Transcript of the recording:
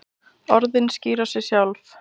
Orðin skýra sig sjálf.